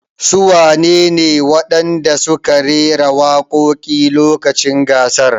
Su wane ne wadanda suke rera waƙoƙi a lokacin gasar?